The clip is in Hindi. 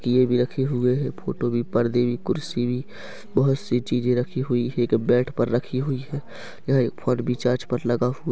ये भी रखे हुए है फोटो भी पर्दे भी कुर्सी भी बहोत सी चीजे रखी हुई है एक बेड पर रखी हुई है यह एक फोन भी चार्ज पर लगा हुआ--